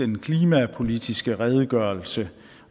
den klimapolitiske redegørelse